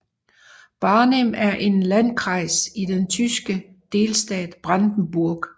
Barnim er en landkreis i den tyske delstat Brandenburg